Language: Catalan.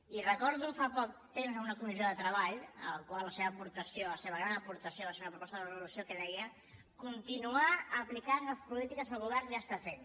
i recordo fa poc temps una comissió de treball en la qual la seva aportació la seva gran aportació va ser una proposta de resolució que deia continuar aplicant les polítiques que el govern ja està fent